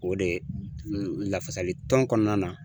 O de lafasalitɔn kɔnɔna na